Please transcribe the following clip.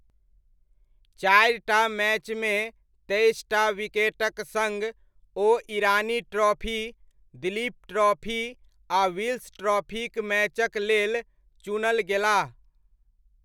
चारि टा मैचमे तेइस टा विकेटक सङ्ग, ओ ईरानी ट्रॉफी, दिलीप ट्रॉफी आ विल्स ट्रॉफीक मैचक लेल चुनल गेलाह।